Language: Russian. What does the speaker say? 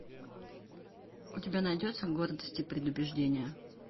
у тебя найдется гордость и предубеждение